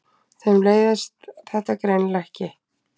Þeim leiðist þetta greinilega ekki.